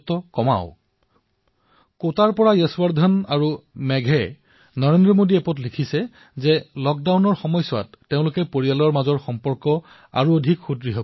কোটাৰ পৰা যশৱৰ্ধনে নৰেন্দ্ৰ মোদী এপত লিখিছে যে তেওঁ লক্ডাউনৰ সময়ছোৱাত পাৰিবাৰিক সম্বন্ধ শক্তিশালী কৰি আছে